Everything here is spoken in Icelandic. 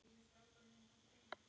Hvers vegna tvisvar?